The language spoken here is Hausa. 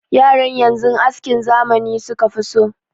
Yaran yanzu askin zamani suka fi so.